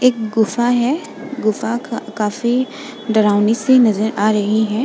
एक गुफा है। गुफा काफी डरावनी सी नजर आ रही है।